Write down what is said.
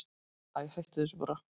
Æi, hættu þessu bara.